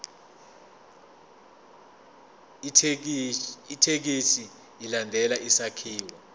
ithekisthi ilandele isakhiwo